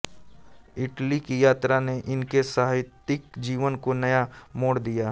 Italy की यात्रा ने इनके साहित्यिक जीवन को नया मोड़ दिया